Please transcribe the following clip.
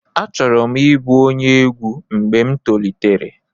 Achọrọ m ịbụ onye egwu mgbe m tolitere.